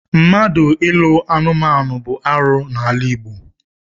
Mmadụ ịlụ anumanu bụ arụ n'ala Igbo.